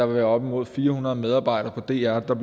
være op imod fire hundrede medarbejdere på dr der